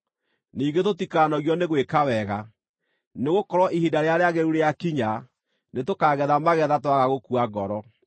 Ningĩ tũtikanogio nĩ gwĩka wega, nĩgũkorwo ihinda rĩrĩa rĩagĩrĩru rĩakinya nĩtũkaagetha magetha twaga gũkua ngoro.